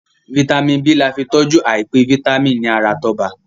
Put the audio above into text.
Vitamin B là fí tọjú àìpẹ vitamin ní ara Toba.